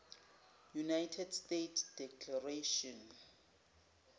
united states declaration